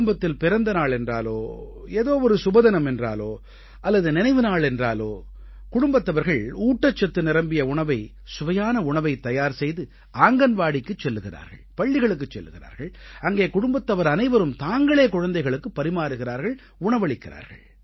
குடும்பத்தில் பிறந்த நாள் என்றாலோ ஏதோ ஒரு சுபதினம் என்றாலோ அல்லது நினைவு நாள் என்றாலோ குடும்பத்தவர்கள் ஊட்டச்சத்து நிரம்பிய உணவை சுவையான உணவைத் தயார் செய்து ஆங்கன்வாடிக்குச் செல்கிறார்கள் பள்ளிகளுக்குச் செல்கிறார்கள் அங்கே குடும்பத்தவர் அனைவரும் தாங்களே குழந்தைகளுக்கு பரிமாறுகிறார்கள் உணவளிக்கிறார்கள்